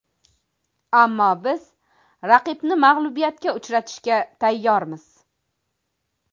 Ammo biz raqibni mag‘lubiyatga uchratishga tayyormiz”.